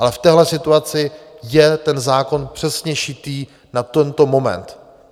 Ale v téhle situaci je ten zákon přesně šitý na tento moment.